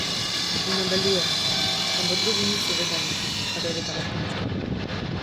In nadaljuje: "Ampak drugi niso vedeli, kar je vedela punčka.